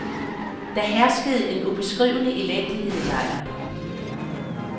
Der herskede en ubeskrivelig elendighed i lejren.